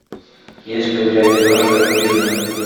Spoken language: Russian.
есть ли у тебя киношка хижина